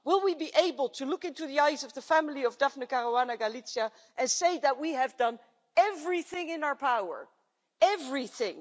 Will we be able to look into the eyes of the family of Daphne Caruana Galizia and say that we have done everything in our power everything?